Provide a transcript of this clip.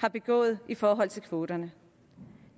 har begået i forhold til kvoterne